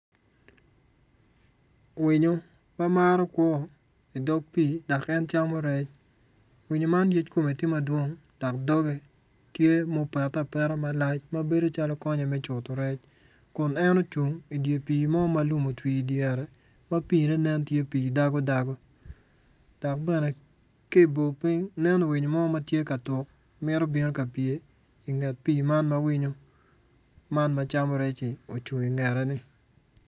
Winyo ma maro kwor idog pii dok en jamo rec winyo man yec kome tye madwong dok doge tye ma opete apeta malac tye calo konye me cutu rec kun en ocung idye pii mo ma lum otwi idyere ma pii ne nen tye pii dago dago dok bene ki bo piny nen winyo mo ma tye ka tuk mito bino kapye inget pii man ma winyo man ma camo rec-ci ocung ingete ni